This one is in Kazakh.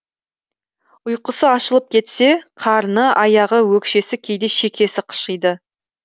ұйқысы ашылып кетсе қарны аяғы өкшесі кейде шекесі қышиды